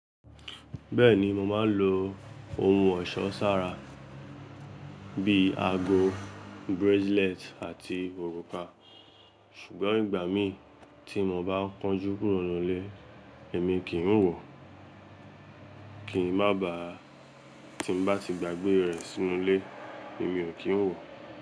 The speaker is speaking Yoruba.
Bẹ́ẹ̀ni, mo máa ń lo ohun ọ̀ṣọ́ sára bí àgọ, bracelet àti òrùka, ṣùgbọ́n ìgbà mi tí mo bá kánjú kúrò nílé èmi kì n wọ̀, kì n ma bá, tí n bá ti gbàgbé rẹ̀ sínú ilé èmi ò kí ń wọ̀.